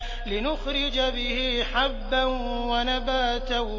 لِّنُخْرِجَ بِهِ حَبًّا وَنَبَاتًا